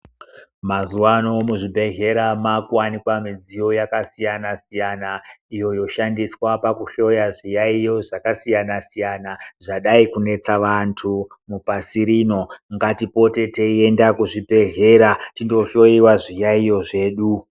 Mazuwa ano muzvibhedhera mwakuwanikwe midziyo yakasiyana siyana iyo yoshandiswa kuhloya zviyaiyo zvaksiyana siyana iyo zvadai kunetsa antu mupasi rino. Ngatipote teiende kuzvibhedhera tindohloiwe zviyaiyo zvedu.